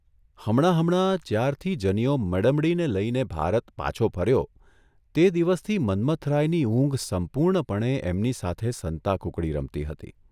હમણાં હમણાં, જ્યારથી જનીયો મડમડીને લઇને ભારત પાછો ફર્યો તે દિવસથી મન્મથરાયની ઊંઘ સંપૂર્ણપણે એમની સાથે સંતાકૂકડી રમતી હતી.